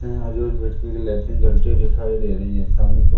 यहां लाइटिंग जलते दिखाई दे रही है सामने की ओ--